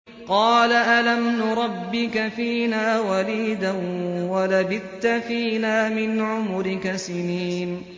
قَالَ أَلَمْ نُرَبِّكَ فِينَا وَلِيدًا وَلَبِثْتَ فِينَا مِنْ عُمُرِكَ سِنِينَ